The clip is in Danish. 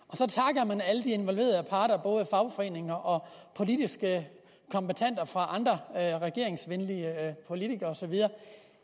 i de involverede parter både fagforeninger og politiske kombattanter fra andre regeringsvenlige partier og så videre